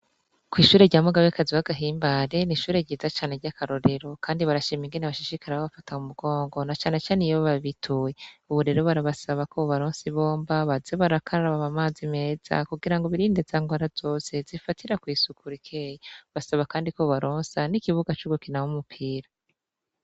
Kw'ishure rya muga be kaziwagahimbare nishure ryiza cane ry'akarorero, kandi barashaa imigene bashishikari ba bafata mu mugongo na canecane iyobo babituye uburero barabasaba ko bu baronsi bomba baze barakararababa amazi meza kugira ngo birinde zango ara zose zifatira kw'isukurikeyi basaba, kandi ko bubalonsa n'ikibuga c'ugukina wo umupira.